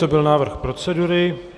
To byl návrh procedury.